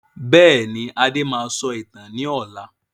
Bẹ́ẹ̀ni, Adé máa sọ ìtàn ni ọ̀la.